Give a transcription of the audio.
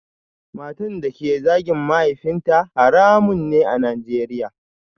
Matan da ke zagin mahaifinta haramun ne a Najeriya